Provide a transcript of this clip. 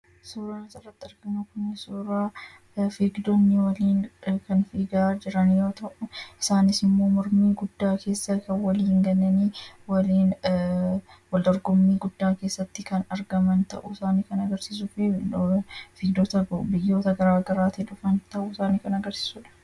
Suuraan asirratti arginu Kun, suuraa fiigdonni waliin kan fiigaa jiran yoo ta'u isaanis immoo mormii guddaa keessa kan waliin galanii wal dorgommii guddaa keessatti kan argaman ta'uu isaanii kan agarsiisuu fi fiigdota biyyoota garaagaraatii dhufan ta'uu isaanii kan agarsiisudha.